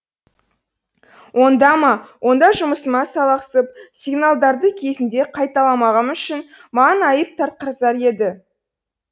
онда ма онда жұмысыма салақсып сигналдарды кезінде қайталамағаным үшін маған айып тартқызар еді